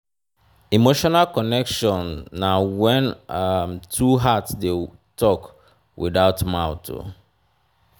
emotional connection na wen um two heart dey tok witout mouth.